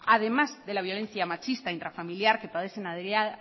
además de la violencia machista intrafamiliar que parecen